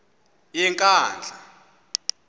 yenkandla